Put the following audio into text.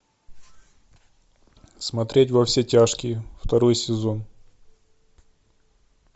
смотреть во все тяжкие второй сезон